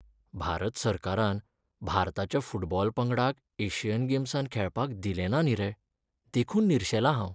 भारत सरकारान भारताच्या फुटबॉल पंगडाक एशियन गेम्सांत खेळपाक दिलें ना न्ही रे, देखून निर्शेलां हांव.